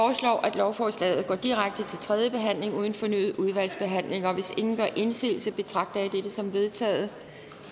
at lovforslaget går direkte til tredje behandling uden fornyet udvalgsbehandling hvis ingen gør indsigelse betragter jeg dette som vedtaget